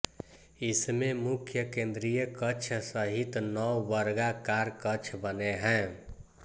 इसमें मुख्य केन्द्रीय कक्ष सहित नौ वर्गाकार कक्ष बने हैं